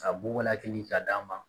Ka bugɔ a kin ka d'a ma